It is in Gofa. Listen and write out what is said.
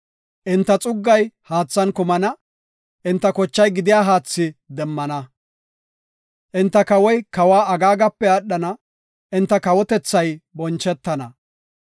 Enta xuggay haathan kumana; enta kochay gidiya haathi demmana. Enta kawoy kawa Agaagape aadhana; enta kawotethay bonchetana.